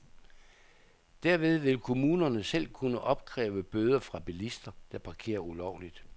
Derved vil kommunerne selv kunne opkræve bøder fra bilister, der parkerer ulovligt.